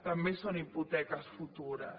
també són hipoteques futures